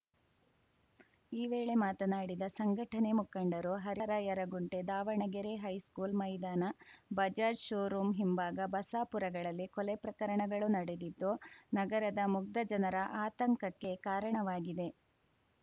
ಈ ವೇಳೆ ಮಾತನಾಡಿದ ಸಂಘಟನೆ ಮುಖಂಡರು ಹರಿಹರ ಯರಗುಂಟೆ ದಾವಣಗೆರೆ ಹೈಸ್ಕೂಲ್‌ ಮೈದಾನ ಬಜಾಜ್‌ ಶೋರೂಂ ಹಿಂಭಾಗ ಬಸಾಪುರಗಳಲ್ಲಿ ಕೊಲೆ ಪ್ರಕರಣಗಳು ನಡೆದಿದ್ದು ನಗರದ ಮುಗ್ಧ ಜನರ ಆತಂಕಕ್ಕೆ ಕಾರಣವಾಗಿದೆ